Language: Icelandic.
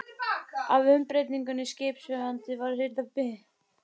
Af umbreytingunni í Skipasundi varð ég hyskin og tilætlunarsöm.